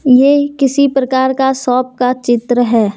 ये किसी प्रकार का शॉप का चित्र है।